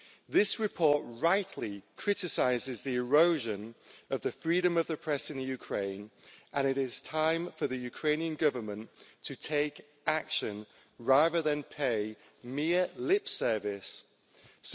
This report rightly criticises the erosion of the freedom of the press in Ukraine, and it is time for the Ukrainian Government to take action, rather than pay mere lip service to it.